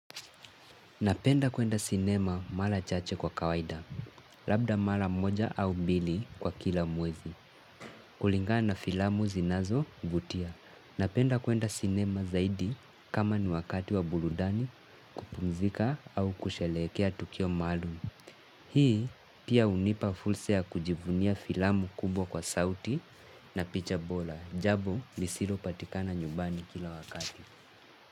Napenda kuenda sinema mara chache kwa kawaida, labda mara moja au mbili kwa kila mwezi. Kulingana na filamu zinazo vutia. Napenda kuenda sinema zaidi kama ni wakati wa burudani kupumzika au kusherehekea Tukio Maalum. Hii pia hunipa fursa ya kujivunia filamu kubwa kwa sauti na picha bora. Jambo lisilo patikana nyumbani kila wakati.